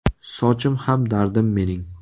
Sochim ham dardim mening….